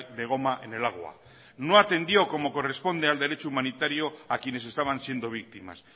de goma en el agua no atendió como corresponde al derecho humanitario a quienes estaban siendo víctimas